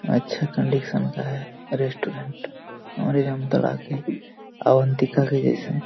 अच्छा कन्डिशन का है रेसटोटेन्ट हमारे जमतारा के अवन्तिका के जैसा है|